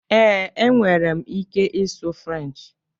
Ee, e nwere m ike ịsụ Frenchị.